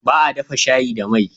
Baa dafa shayi da mai